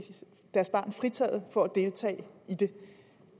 deres barn fritaget for at deltage i den